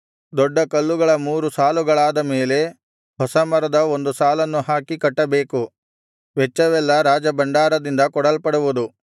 ದೊಡ್ಡ ಕಲ್ಲುಗಳ ಮೂರು ಸಾಲುಗಳಾದ ಮೇಲೆ ಹೊಸ ಮರದ ಒಂದು ಸಾಲನ್ನು ಹಾಕಿ ಕಟ್ಟಬೇಕು ವೆಚ್ಚವೆಲ್ಲಾ ರಾಜಭಂಡಾರದಿಂದ ಕೊಡಲ್ಪಡುವುದು